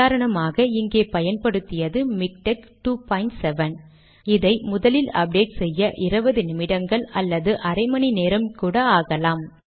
உதாரணமாக இங்கே பயன்படுத்தியது மிக்டெக் 27 இதை முதலில் அப்டேட் செய்ய 20 நிமிடங்களோ அரை மணி நேரம் கூட ஆகலாம்